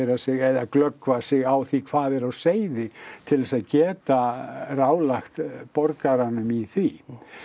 sig eða glöggva sig á því hvað er á seyði til þess að geta ráðlagt borgaranum í því